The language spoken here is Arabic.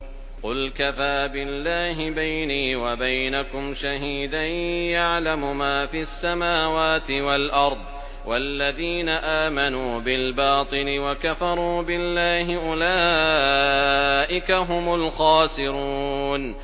قُلْ كَفَىٰ بِاللَّهِ بَيْنِي وَبَيْنَكُمْ شَهِيدًا ۖ يَعْلَمُ مَا فِي السَّمَاوَاتِ وَالْأَرْضِ ۗ وَالَّذِينَ آمَنُوا بِالْبَاطِلِ وَكَفَرُوا بِاللَّهِ أُولَٰئِكَ هُمُ الْخَاسِرُونَ